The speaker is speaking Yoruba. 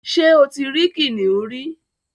ṣé o tí rí kìnìún rí?